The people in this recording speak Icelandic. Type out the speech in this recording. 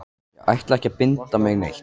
Ég ætla ekki að binda mig neitt.